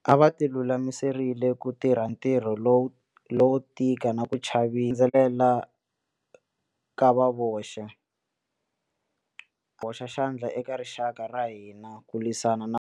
A va ti lulamiserile ku tirha ntirho lowo tika na ku chavelela ka va voxe. Hoxa xandla eka rixaka ra hina ku lwisana.